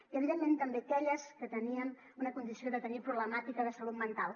i evidentment també aquelles que tenien una condició de tenir problemàtica de salut mental